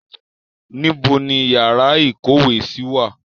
Níbo ni yàrá ìkówèésí wà?